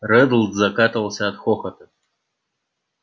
реддл закатывался от хохота